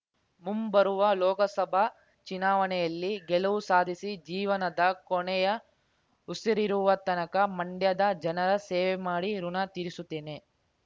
ಮುಂಬರುವ ಲೋಕಸಭಾ ಚುನಾವಣೆಯಲ್ಲಿ ಗೆಲುವು ಸಾಧಿಸಿ ಜೀವನದ ಕೊನೆಯ ಉಸಿರಿರುವ ತನಕ ಮಂಡ್ಯದ ಜನರ ಸೇವೆ ಮಾಡಿ ಋಣ ತೀರಿಸುತ್ತೇನೆ